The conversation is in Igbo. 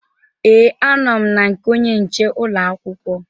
Ee, anọ m na nke onye nche ụlọ akwụkwọ